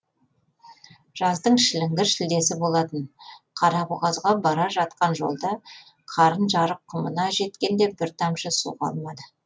жаздың шіліңгір шілдесі болатын қарабұғазға бара жатқан жолда қарын жарық құмына жеткенде бір тамшы су қалмады